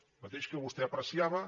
el mateix que vostè apreciava